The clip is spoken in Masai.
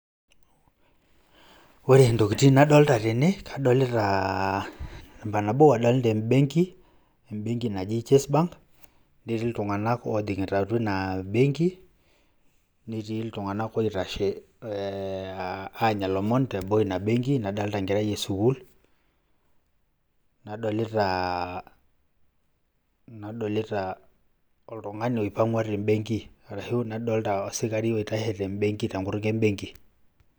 Ore ntokitin nadolita tene, kadolitaa namba nabo adolita embenki, embenki naji Chase bank, netii iltung'anak ojing'ita atua ina benki, netii iltung'anak oitashe ee anya ilomon teboo ina benki, nadolita enkerai e sukuul, nadolitaa nadolitaa oltung'ani oipang'ua te mbenki ashu nadolita osikari oitashe te mbenki te nkutuk embenki.